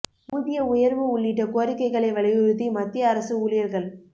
ஊதிய உயர்வு உள்ளிட்ட கோரிக்கைகளை வலியுறுத்தி மத்திய அரசு ஊழியர்கள்